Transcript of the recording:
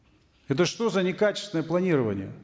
это что за некачественное планирование